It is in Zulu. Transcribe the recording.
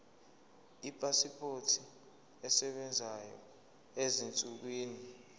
ipasipoti esebenzayo ezinsukwini